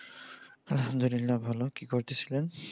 আলহামদুলিল্লাহ ভালো। কি করতেছিলেন?